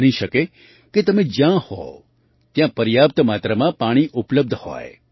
બની શકે કે તમે જ્યાં હો ત્યાં પર્યાપ્ત માત્રામાં પાણી ઉપલબ્ધ હોય